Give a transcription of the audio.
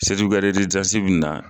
be na .